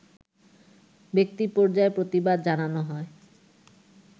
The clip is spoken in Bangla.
ব্যক্তি পর্যায়ে প্রতিবাদ জানানো হয়